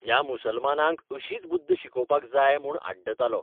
ह्या मुसलमानांक अशीच बुद्द शिकोवपाक जाय म्हूण आडतालो.